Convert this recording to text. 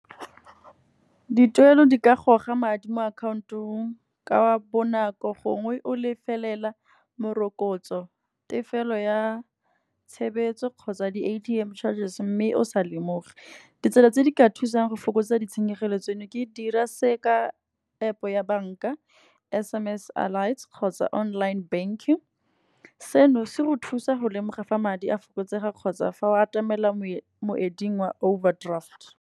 Dituelo di ka goga madi mo akhaontong ka bonako gongwe o lefelela morokotso. Tefelo ya tshebetso kgotsa di-A_T_M charges mme o sa lemoge. Ditsela tse di ka thusang go fokotsa ditshenyegelo tseno, ke dira se ka App ya bank-a S_M_S kgotsa online banking. Seno se go thusa go lemoga fa madi a fokotsega kgotsa fa o atamela moeding wa overdraft.